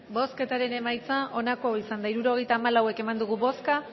bozketaren emaitza onako izan da hirurogeita hamalau eman dugu bozka